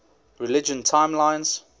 religion timelines